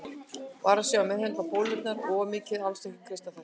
Vara sig á að meðhöndla bólurnar of mikið og alls ekki kreista þær.